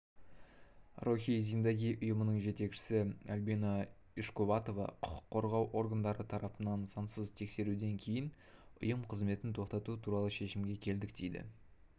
рохи зиндаги ұйымының жетекшісі альбина ишкуватова құқық қорғау органдары тарапынан сансыз тексеруден кейін ұйым қызметін тоқтату туралы шешімге келдік дейді